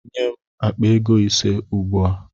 Nye m akpa ego ise ugbua!